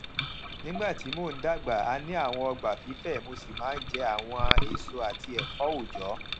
nígbà tí mo n dàgbà a ní àwon ogbà fífẹ mo sì maa n je àwon èso àti èfó ọjọ